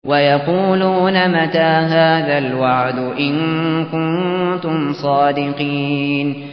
وَيَقُولُونَ مَتَىٰ هَٰذَا الْوَعْدُ إِن كُنتُمْ صَادِقِينَ